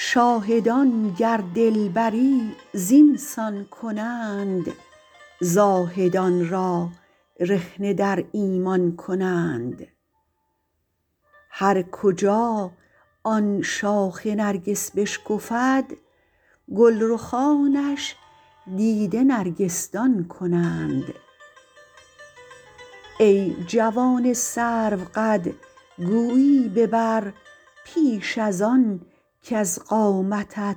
شاهدان گر دلبری زین سان کنند زاهدان را رخنه در ایمان کنند هر کجا آن شاخ نرگس بشکفد گل رخانش دیده نرگس دان کنند ای جوان سروقد گویی ببر پیش از آن کز قامتت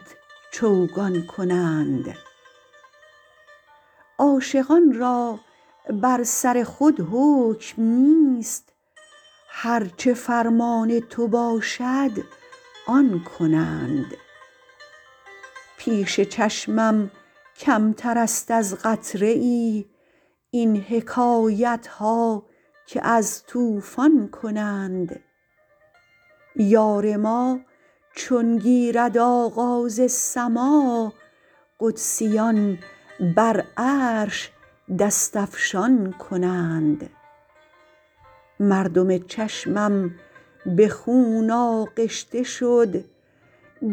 چوگان کنند عاشقان را بر سر خود حکم نیست هر چه فرمان تو باشد آن کنند پیش چشمم کمتر است از قطره ای این حکایت ها که از طوفان کنند یار ما چون گیرد آغاز سماع قدسیان بر عرش دست افشان کنند مردم چشمم به خون آغشته شد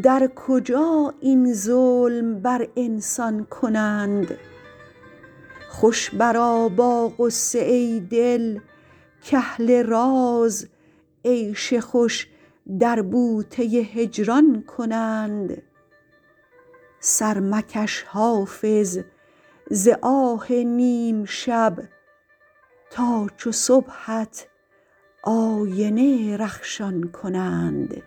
در کجا این ظلم بر انسان کنند خوش برآ با غصه ای دل کاهل راز عیش خوش در بوته هجران کنند سر مکش حافظ ز آه نیم شب تا چو صبحت آینه رخشان کنند